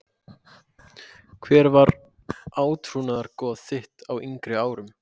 Hver var átrúnaðargoð þitt á yngri árum?